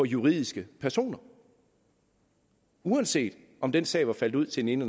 juridiske personer uanset om den sag var faldet ud til den ene